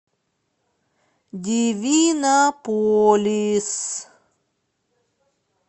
дивинополис